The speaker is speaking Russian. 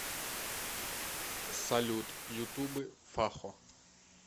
салют ютубы фахо